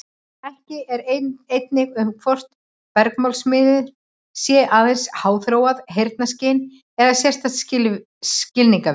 Ekki er eining um hvort bergmálsmiðun sé aðeins háþróað heyrnarskyn eða sérstakt skilningarvit.